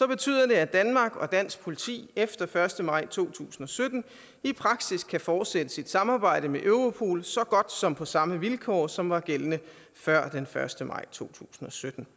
betyder det at danmark og dansk politi efter første maj to tusind og sytten i praksis kan fortsætte sit samarbejde med europol så godt som på samme vilkår som var gældende før den første maj to tusind og sytten